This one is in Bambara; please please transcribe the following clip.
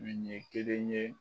Wi ɲe kelen ye